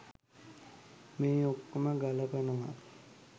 මේ ඔක්කෝම බලපානවා.